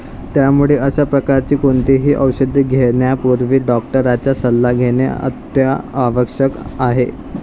त्यामुळे अश्या प्रकारची कोणतीही औषधे घेण्यापूर्वी डॉक्टरांचा सल्ला घेणे अत्यावश्यक आहे.